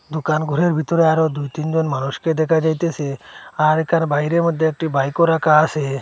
দোকান ঘরের ভিতরে আরো দুই তিন জন মানুষকে দেখা যাইতেছে আর কার বাইরের মধ্যে একটি বাইকও রাখা আছে।